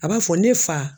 A b'a fɔ ne fa